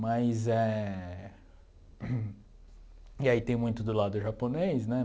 Mas éh... E aí tem muito do lado japonês, né?